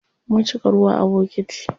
Mun cika ruwa a bokiti.